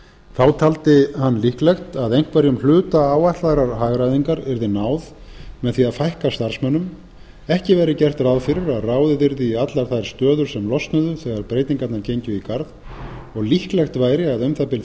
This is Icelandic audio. þá taldi hann líklegt að einhverjum hluta áætlaðrar hagræðingar yrði náð með því að fækka starfsmönnum ekki væri gert ráð fyrir að ráðið yrði í allar þær stöður sem losnuðu þegar breytingarnar gengju í garð og líklegt væri að um það bil